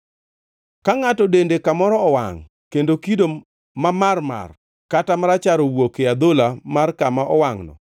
Ka ngʼato dende kamoro owangʼ kendo kido mamarmar kata marachar owuok e adhola mar kama owangʼno,